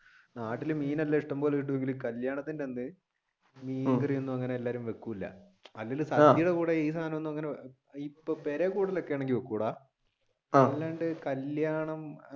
നാട്ടിൽ മീനൊക്കെ ഇഷ്ടംപോലെ കിട്ടുമെങ്കിലും കല്യാണത്തിന്റെ അന്ന് മീൻകറി ഒന്നും അങ്ങനെ എല്ലാരും വെക്കൂല അല്ലാണ്ട് കല്യാണം